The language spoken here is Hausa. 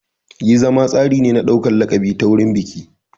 Yin zama tsari ne na ɗaukar laƙabi ta wurin biki.